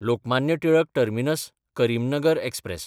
Lokmanya Tilak टर्मिनस–करिमनगर express